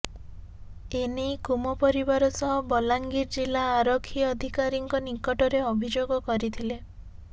ଏ ନେଇ କୁମ ପରିବାର ସହ ବଲାଙ୍ଗୀର ଜିଲ୍ଲା ଆରକ୍ଷୀ ଅଧିକାରୀଙ୍କ ନିକଟରେ ଅଭିଯୋଗ କରିଥିଲେ